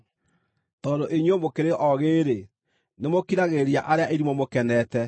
Tondũ inyuĩ mũkĩrĩ oogĩ-rĩ, nĩmũkiragĩrĩria arĩa irimũ mũkenete!